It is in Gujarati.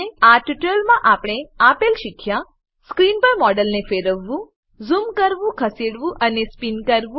આ ટ્યુટોરીયલમાં આપણે આપેલ શીખ્યા સ્ક્રીન પર મોડેલને ફેરવવું ઝૂમ કરવું ખસેડવું અને સ્પીન કરવું